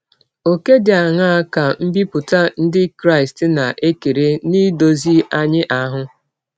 Ọ̀kè dị aṅaa ka mbipụta ndị Krịsti na - ekere n’idọzi anyị ahụ?